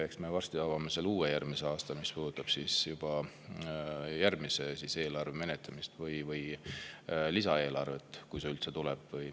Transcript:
Eks me varsti avame selle uuesti, järgmisel aastal, mis puudutab juba järgmise eelarve menetlemist või lisaeelarvet, kui see üldse tuleb.